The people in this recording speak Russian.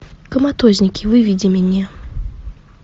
коматозники выведи мне